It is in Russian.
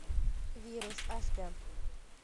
вирус аш дэ